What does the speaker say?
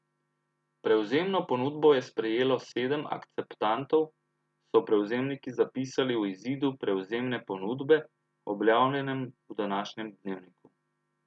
Prevzemno ponudbo je sprejelo sedem akceptantov, so prevzemniki zapisali v izidu prevzemne ponudbe, objavljenem v današnjem Dnevniku.